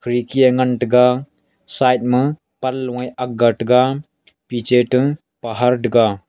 khirki a ngan taiga side ma panloe akga taiga piche ta pahar tega.